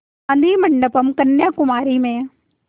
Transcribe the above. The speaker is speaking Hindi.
गाधी मंडपम् कन्याकुमारी में